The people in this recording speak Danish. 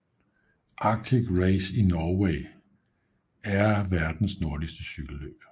Arctic Race of Norway er verdens nordligste cykelløb